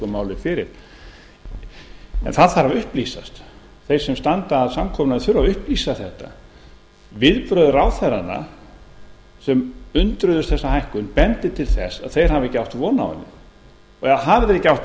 málið fyrir en það þarf að upplýsast þeir sem standa að samkomulaginu þurfa að upplýsa þetta viðbrögð ráðherranna sem undruðust þessa hækkun bendir til þess að þeir hafi ekki átt von á henni hafi þeir ekki átt